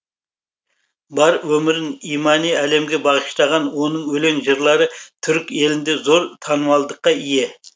бар өмірін имани әлемге бағыштаған оның өлең жырлары түрік елінде зор танымалдылыққа ие